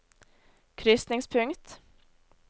krysningspunkt